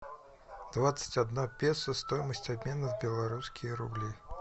двадцать одна песо стоимость обмена в белорусские рубли